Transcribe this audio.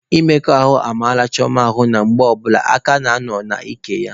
Mmekọ ahụ mara Chioma ahụ nke na mgbe ọbụla aka ya nọ n'ike ya.